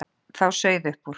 Þá sauð upp úr.